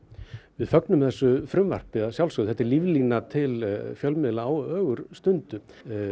við fögnum þessu frumvarpi þetta er líflína til fjölmiðla á ögurstundu